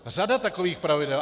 Řada takových pravidel.